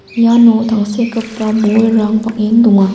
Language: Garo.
iano tangsekgipa bolrang bang·en donga.